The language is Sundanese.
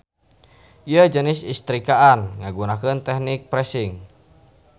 Ieu jenis istrikaan ngagunakeun tehnik pressing.